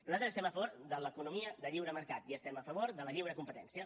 nosaltres estem a favor de l’economia de lliure mercat i estem a favor de la lliure competència